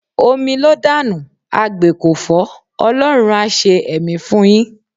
Omi ló dànù, agbè kò fọ́, Ọlọ́run á ṣe ẹ̀mí fún yín.